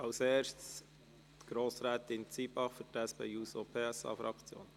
Als erstes Grossrätin Zybach für die SP-JUSO-PSA-Fraktion.